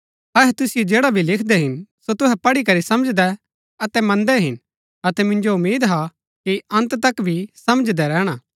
अहै तुसिओ जैडा भी लिखदै हिन सो तुहै पढ़ी करी समझदै अतै मन्दै हिन अतै मिन्जो उम्मीद हा कि अन्त तक भी समझदै रैहणा